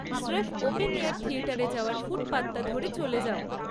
স্রেফ open air থিয়েটারে যাওয়ার ফুটপাথটা ধরে চলে যাও।